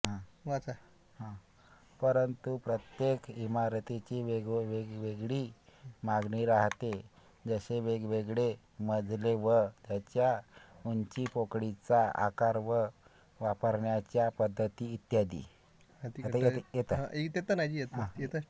परंतुप्रत्येक ईमारतींची वेगवेगळी मागणी राहते जसेवेगवेगळे मजले व त्याच्या उंचीपोकळीचा आकार व वापरण्याच्या पद्धती इत्यादी